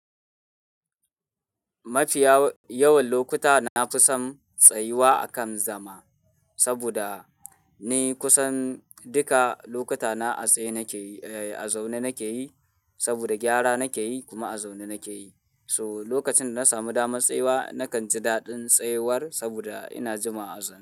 Mafiya yawan lokuta na fi son tsayuwa akan zama saboda ni kusan duka lokuta na a tsaye nake yi, a zaune nake yi saboda gyara nake yi kuma a zaune nake yi. So lokacin da na samu damar tsayuwa, na kan ji daɗin tsayawar saboda ina jima a zaune.